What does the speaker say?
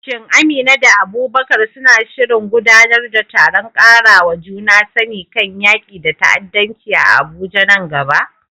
Shin Amina da Abubakar suna shirin gudanar da taron ƙarawa juna sani kan yaƙi da ta'addanci a Abuja nan gaba?